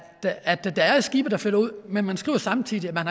at der er skibe der flytter ud men man skriver samtidig at man